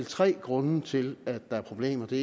tre grunde til at der er problemer den